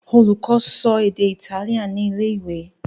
Olùkó so èdè Itálíà ní ilé-ìwé.